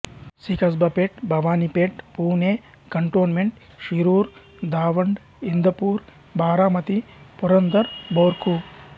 C Kasba Peth Bhavani Peth Pune cantonment Shirur Daund Indapur Baramati Purandar భోర్కు